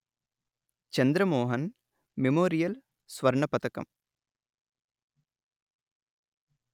Chandramohan memorial స్వర్ణ పతకం